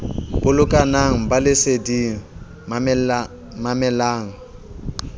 bolokang ba le leseding mamelang